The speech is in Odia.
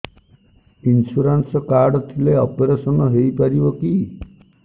ଇନ୍ସୁରାନ୍ସ କାର୍ଡ ଥିଲେ ଅପେରସନ ହେଇପାରିବ କି